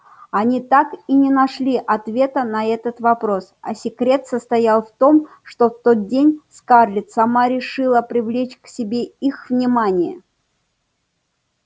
они так и не нашли ответа на этот вопрос а секрет состоял в том что в тот день скарлетт сама решила привлечь к себе их внимание